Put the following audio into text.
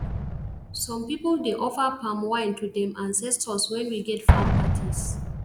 some people dey offer palm wine to dem ancetors wen we get farm parties